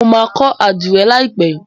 Mọ má kó adire láìpé.